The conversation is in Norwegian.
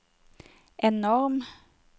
enorm